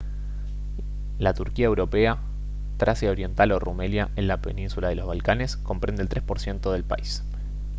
la turquía europea tracia oriental o rumelia en la península de los balcanes comprende el 3 % del país